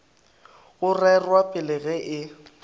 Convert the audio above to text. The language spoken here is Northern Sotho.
go rerwa pele ge e